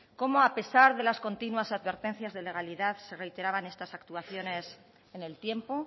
cómo a pesar de las continuas advertencias de legalidad se reiteraban estas actuaciones en el tiempo